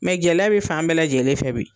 gɛlɛya be fan bɛɛ lajɛlen fɛ bi